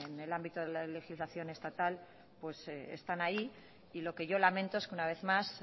en el ámbito de la legislación estatal están ahí lo que yo lamento es que una vez más